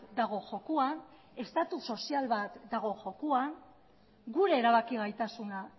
dago jokoan estatu sozial bat dago jokoan gure erabaki gaitasuna